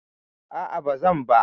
A'a ba zan ba.